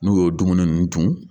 N'u y'o dumuni ninnu dun